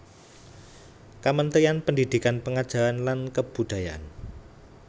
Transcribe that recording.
Kamentrian Pendidikan pengajaran lan kebudayaan